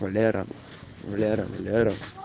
валера валера валера